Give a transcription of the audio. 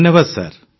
ଧନ୍ୟବାଦ ସାର୍